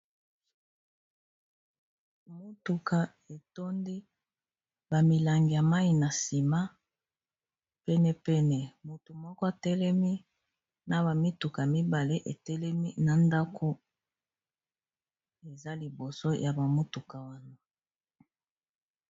Motuka etondi ba milangi ya mai na nsima. Penepene motu moko atelemi. Na ba mituka mibale etelemi na ndako eza liboso ya ba motuka wana.